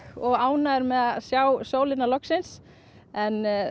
og ánægðir með að sjá sólina loksins en